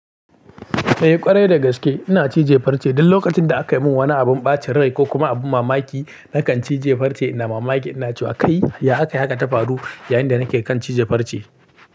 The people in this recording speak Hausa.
Eh ƙwarai da gaske ina cije farce. Duk lokacin da aka yi min wani abin ɓacin rai ko kuma abin mamaki nakan cije farce, ina mamaki, ina cewa kai ya aka haka ta faru yayin da nake kan cije farce.